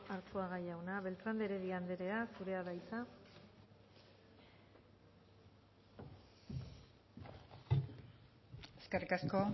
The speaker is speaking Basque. arzuaga jauna beltran de heredia andrea zurea da hitza eskerrik asko